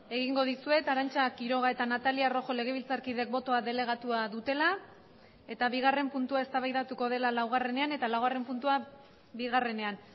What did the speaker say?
egingo dizuet arantza quiroga eta natalia rojo legebiltzarkideek botoa delegatua dutela eta bigarren puntua eztabaidatuko dela laugarrenean eta laugarren puntua bigarrenean